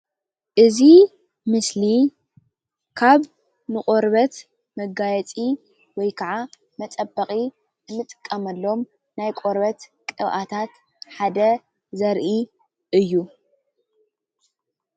እዚ ምስሊ ናይ ቆርበት ቅብኣት እዩ።